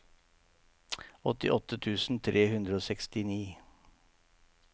åttiåtte tusen tre hundre og sekstini